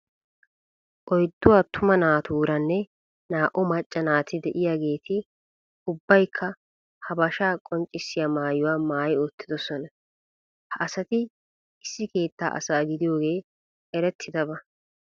Oyddu attuma naatuuranne naa"u macca naati de'iyageeti ubbaykka habashaa qonccissiya maayuwa maayi uttidosona. Ha asati issi keettaa asa gidiyogee erettidaba.